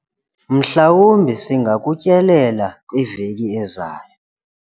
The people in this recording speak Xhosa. mhlawumbi singakutyelela kwiveki ezayo